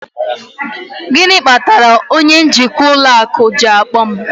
Gịnị kpatara onye njikwa ụlọ akụ ji akpọ m?